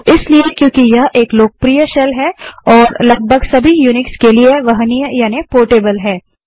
वो इसलिए क्योंकि यह एक लोकप्रिय शेल है और लगभग सभी यूनिक्स के लिए वहनीय यानि पोर्टेबल है